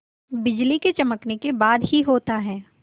बिजली के चमकने के बाद ही होता है